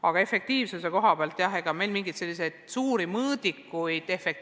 Aga efektiivsuse määratlemiseks meil mingeid erilisi mõõdikuid ei ole.